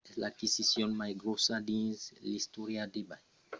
es l’aquisicion mai gròssa dins l’istòria d’ebay